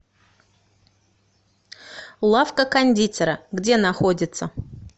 лавка кондитера где находится